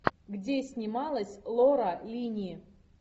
где снималась лора линни